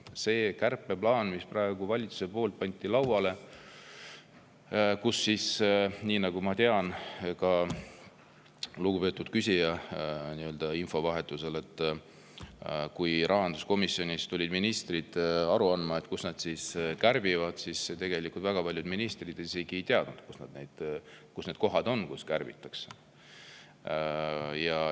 Selle kärpeplaani puhul, mis praegu valitsuse poolt lauale pandi, – nagu ma tean ka lugupeetud küsija infovahetuse järgi –, et kui ministrid tulid rahanduskomisjoni aru andma, kust nad kärbivad, siis tegelikult väga paljud ministrid ise ka ei teadnud, mis kohad need on, kust kärbitakse.